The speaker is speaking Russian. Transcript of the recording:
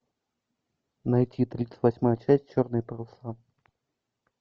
найти тридцать восьмая часть черные паруса